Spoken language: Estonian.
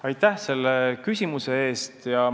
Aitäh selle küsimuse eest!